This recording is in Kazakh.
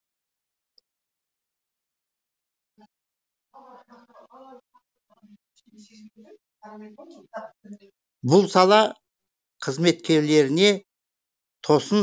бұл сала қызметкерлеріне тосын